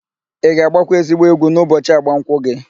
Ị ga-agbakwa ezigbo egwu n'ụbọchị agbamụnkwụ gị?